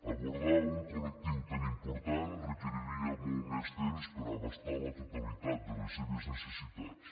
abordar un col·lectiu tan important requeriria molt més temps per abastar la totalitat de les seves necessitats